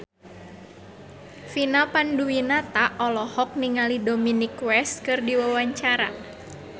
Vina Panduwinata olohok ningali Dominic West keur diwawancara